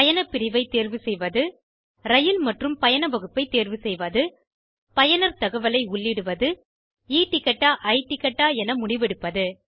பயணப்பிரிவை தேர்வு செய்வது ரயில் மற்றும் பயண வகுப்பைத் தேர்வு செய்வது பயனர் தகவலை உள்ளிடுவது e டிக்கெட் ஆ i டிக்கெட் ஆ என முடிவெடுப்பது